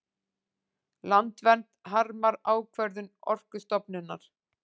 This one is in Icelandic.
Landvernd harmar ákvörðun Orkustofnunar